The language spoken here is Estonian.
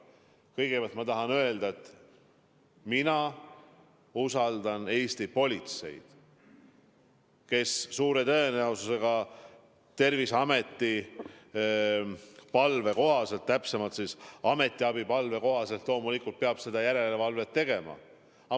Kõigepealt ma tahan öelda, et mina usaldan Eesti politseid, kes suure tõenäosusega Terviseameti palve peale, täpsemalt ametiabipalve peale peab seda järelevalvet tegema.